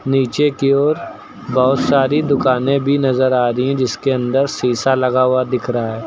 नीचे की ओर बहुत सारी दुकानें भी नजर आ रही हैं जिसके अंदर शीशा लगा हुआ दिख रहा --